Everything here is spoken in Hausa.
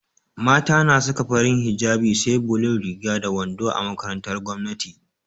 Mata na Saka farin hijjabi SE bulun Riga da wando a makarantar gwamnati